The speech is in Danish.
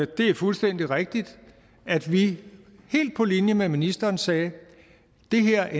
det er fuldstændig rigtigt at vi helt på linje med ministeren sagde at det her